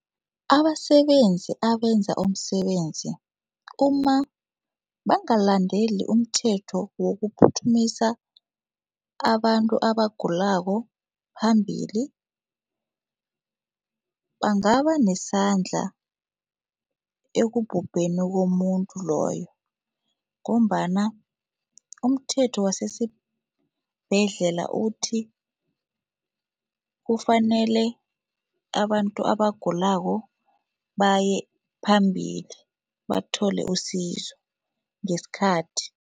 Abasebenzi abenza umsebenzi umabangalandeli umthetho wokuphuthumisa abantu abagulako phambili, bangaba nesandla ekubhubheni komuntu loyo ngombana umthetho wasesibhedlela uthi, kufanele abantu abagulako baye phambili bathole usizo ngesikhathi.